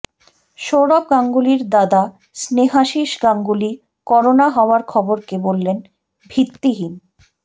সৌরভ গাঙ্গুলীর দাদা স্নেহাশিস গাঙ্গুলী করোনা হওয়ার খবরকে বললেন ভিত্তিহীন